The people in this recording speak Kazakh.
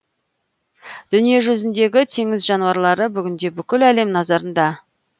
дүниежүзіндегі теңіз жануарлары бүгінде бүкіл әлем назарында